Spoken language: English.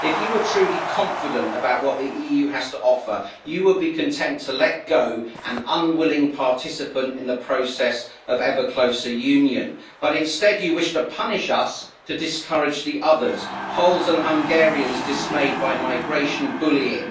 If you were truly confident about what the EU has to offer, you would be content to let go an unwilling participant in the process of ever closer union, but instead you wish to punish us to discourage the others Poles and Hungarians dismayed by migration bullying